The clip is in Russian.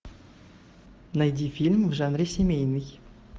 найди фильм в жанре семейный